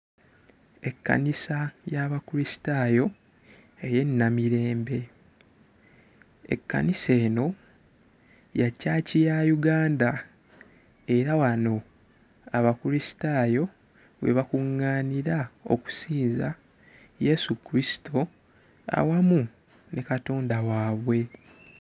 Ekkanisa y'Abakristaayo ey'e Namirembe. Ekkanisa eno ya church ya Uganda era wano Abakristaayo we bakuŋŋaanira okusinza Yesu Kristo awamu ne Katonda waabwe.